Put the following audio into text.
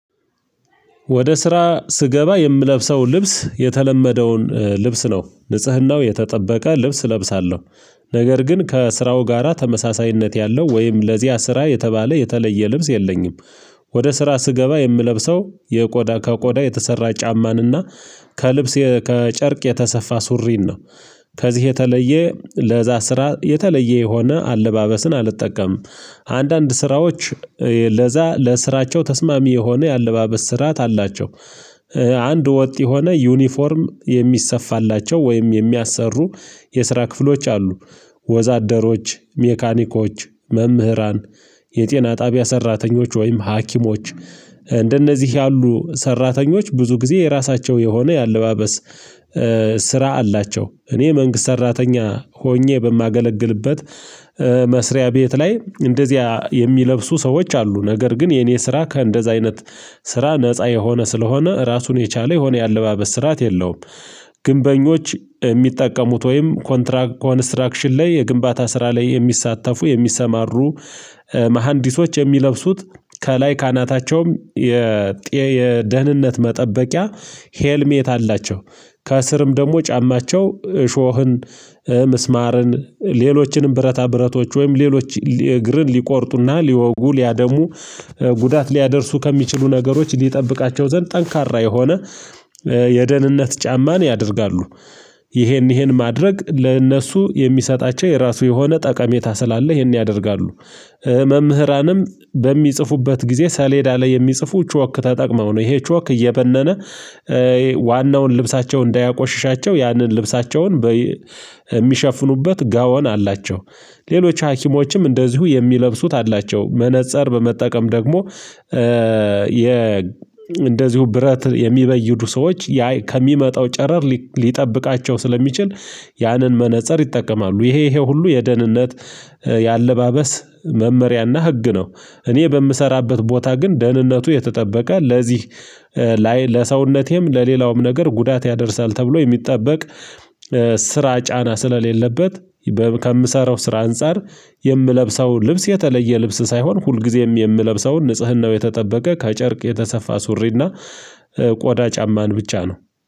ወደ ስራ ስገባ የምለብሰው ልብስ የተለመደውን ልብስ ነው ንጽህናው የተጠበቀ ልብስ እለብሳለሁ ነገር ግን ከስራው ጋራ ተመሳሳይነት ያለው ወይም ለዚያ ስራ የተባለ የተለየ ልብስ የለኝም። ወደ ስራ ስገባ የምለብሰው የቆዳ ከቆዳ የተሰራ ጫማንና ከልብስ ከጨርቅ የተሰፋ ሱሪን ነው። ከዚህ የተለየ ለዛ ስራ የተለየ የሆነ አለባበስን አልጠቀምም። አንዳንድ ስራዎች ለዛ ለስራቸው ተስማሚ የሆነ የአለባበስ ስርዓት አላቸው። አንድ ወጥ የሆነ ዩኒፎርም የሚሰፋላቸው ወይም የሚያሰሩ የስራ ክፍሎች አሉ። ወዛደሮች ሜካኒኮች መምህራን የጤና ጣቢያ ሰራተኞች ወይም ሀኪሞች። እንደነዚህ ያሉ ሰራተኞች ብዙ ጊዜ የራሳቸው የሆነ የአለባበስ ስራ አላቸው። እኔ መንግስት ሰራተኛ ሆኜ በማገለግልበት መስሪያ ቤት ላይ እንደዚያ የሚለብሱ ሰዎች አሉ ነገር ግን የኔ ስራ ከእንደዚያ አይነት ስራ ነፃ የሆነ ስለሆነ ራሱን የቻለ የሆነ የአለባበስ ስርዓት የለውም። ግንበኞች ሚጠቀሙት ወይም ኮንስትራክሽን ላይ የግንባታ ስራ ላይ የሚሳተፉ የሚሰማሩ መሃንዲሶች የሚለብሱት ከላይ ካናታቸውም የደህንነት መጠበቂያ ሄልሜት አላቸው ከእስርም ደግሞ ጫማቸው ሾህን ሚስማርን ሌሎችንም ብረታ ብረቶች ወይም ሌሎች እግርን ሊቆርጡና ሊወጉ ሊያደሙ ጉዳት ሊያደርሱ ከሚችሉ ነገሮች ሊጠብቃቸው ዘንድ ጠንካራ የሆነ የደህንነት ጫማን ያደርጋሉ። ይሄን ይሄን ማድረግ ለእነሱ የሚሰጣቸው የራሱ የሆነ ጠቀሜታ ስላለ ይሄን ያደርጋሉ። መምህራንም በሚጽፉበት ጊዜ ሰሌዳ ላይ የሚጽፉ ቿክ ተጠቅመው ነው ይሄ ቿክ እየበነነ ዋናውን ልብሳቸውን እንዳያቆሽሻቸው ያንን ልብሳቸውን ሚሸፍኑበት ጋወን አላቸው። ሌሎች ሀኪሞችም እንደዚሁ የሚለብሱት አላቸው መነፀር በመጠቀም ደግሞ እንደዚሁ ብረት የሚበይዱ ሰዎች ያ ከሚመጣው ጨረር ሊጠብቃቸው ስለሚችል ያንን መነፀር ይጠቀማሉ። ይሄ ይሄ ሁሉ የደህንነት የአለባበስ መመሪያና ህግ ነው። እኔ በምሰራበት ቦታ ግን ደህንነቱ የተጠበቀ ለዚህ ላይ ለሰውነቴም ለሌላውም ነገር ጉዳት ያደርሳል ተብሎ የሚጠበቅ ስራ ጫና ስለሌለበት። ከምሰራው ስራ አንፃር የምለብሰው ልብስ የተለየ ልብስ ሳይሆን ሁልጊዜም የምለብሰው ንጽህናው የተጠበቀ ከጨርቅ የተሰፋ ሱሪና ቆዳ ጫማን ብቻ ነው